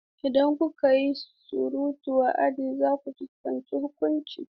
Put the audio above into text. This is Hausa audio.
Idan kuka yi surutu a cikin aji, za ku fuskanci huƙunci.